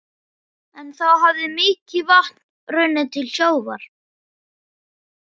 En þá hafði mikið vatn runnið til sjávar.